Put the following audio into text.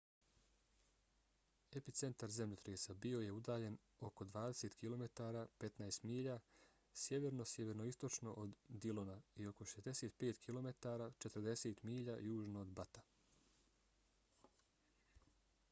epicentar zemljotresa bio je udaljen oko 20 km 15 milja sjeverno-sjeveroistočno od dillona i oko 65 km 40 milja južno od butta